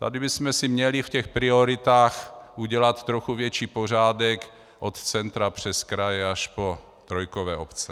Tady bychom si měli v těch prioritách udělat trochu větší pořádek od centra přes kraje až po trojkové obce.